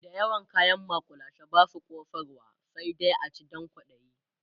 da yawan kayan makullashe Basu kosarwa sai dai a ci Dan kwaɗayi